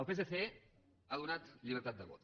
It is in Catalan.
el psc ha donat llibertat de vot